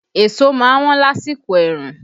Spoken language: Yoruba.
Èso má ń wọ́n lásìkò ẹ̀rùn